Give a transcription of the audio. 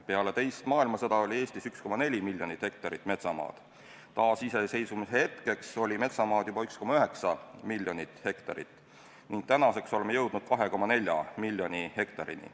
Peale teist maailmasõda oli Eestis 1,4 miljonit hektarit metsamaad, taasiseseisvumise hetkeks oli metsamaad juba 1,9 miljonit hektarit ning tänaseks oleme jõudnud 2,4 miljoni hektarini.